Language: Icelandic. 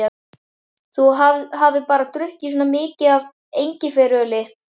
Þú hafir bara drukkið svona mikið af engiferöli.